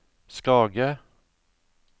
Skage